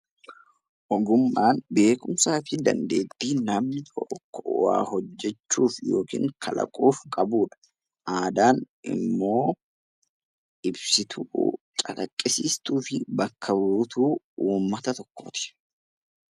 Ogummaan beekumsaa fi dandeettii namni tokko waa hojjachuuf yookiin kalaquuf qabudha. Aadaan immoo ibsituu, calaqqisiistuu fi bakka buutuu uummata tokkooti.